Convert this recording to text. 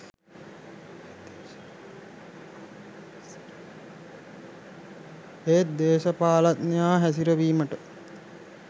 ඒත් දේශපාලනඥයා හැසිරවීමට